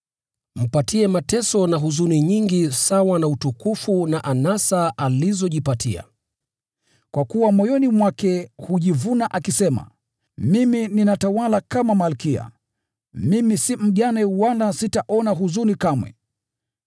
Mpatie mateso na huzuni nyingi sawa na utukufu na anasa alizojipatia. Kwa kuwa moyoni mwake hujivuna, akisema, ‘Mimi ninatawala kama malkia; mimi si mjane, wala sitaona huzuni kamwe.’